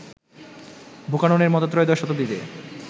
বুকাননের মত ত্রয়োদশ শতাব্দীতে